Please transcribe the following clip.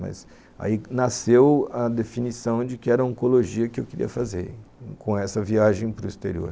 Mas aí nasceu a definição de que era a oncologia que eu queria fazer com essa viagem para o exterior.